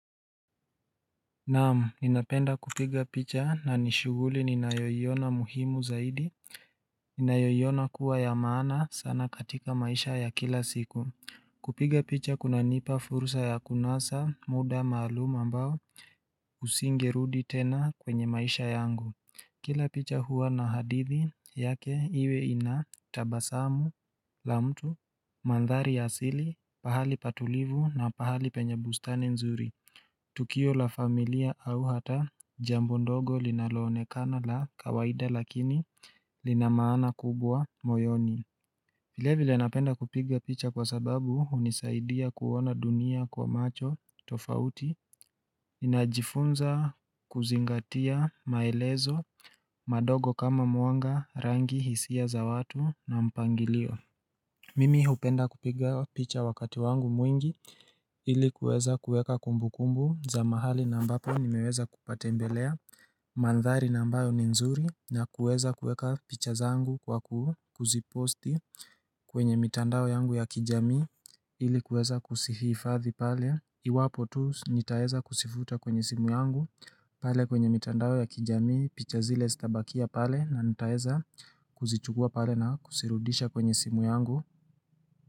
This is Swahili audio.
Naam, ninapenda kupiga picha na ni shughuli ninayoiona muhimu zaidi, ninayoiona kuwa ya maana sana katika maisha ya kila siku. Kupiga picha kunanipa fursa ya kunasa, muda maalum ambao, usingerudi tena kwenye maisha yangu. Kila picha huwa na hadithi yake iwe ina tabasamu la mtu, mandhari ya asili, pahali patulivu na pahali penye bustani nzuri. Tukio la familia au hata jambo ndogo linaloonekana la kawaida lakini lina maana kubwa moyoni vile vile napenda kupiga picha kwa sababu unisaidia kuona dunia kwa macho tofauti najifunza kuzingatia maelezo madogo kama mwanga, rangi, hisia za watu na mpangilio Mimi hupenda kupiga picha wakati wangu mwingi ilikuweza kueka kumbu kumbu za mahali na ambapo nimeweza kupatembelea Mandhari na ambayo ni nzuri na kueza kueka picha zangu kwa kuziposti kwenye mitandao yangu ya kijami ilikuweza kusihifadhi pale iwapo tu nitaeza kusifuta kwenye simu yangu pale kwenye mitandao ya kijamii picha zile sitabakia pale na nitaweza kuzichugua pale na kusirudisha kwenye simu yangu.